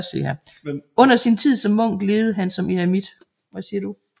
Under sin tid som munk levede han som eremit